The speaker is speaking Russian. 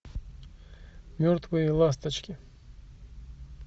мертвые ласточки